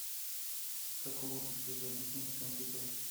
как улучшить производительность компьютера